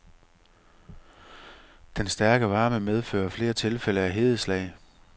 Den stærke varme medfører flere tilfælde af hedeslag.